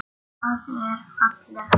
Það er fallegt nafn.